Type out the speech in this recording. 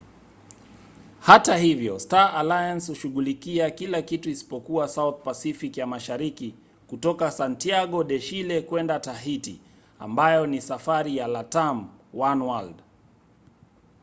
hata hivyo star alliance hushughulikia kila kitu isipokuwa south pacific ya mashariki kutoka santiago de chile kwenda tahiti ambayo ni safari ya latam oneworld